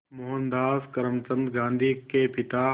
मोहनदास करमचंद गांधी के पिता